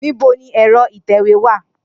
Nibo ni ẹ̀rọ ìtẹ̀wé wa?